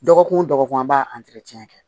Dɔgɔkun o dɔgɔkun an b'a kɛ